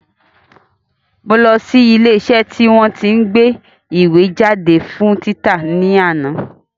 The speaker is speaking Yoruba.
Mo lọ sí ilé iṣẹ́ tí wọ́n tí ń gbé ìwé jáde fún títa ní àná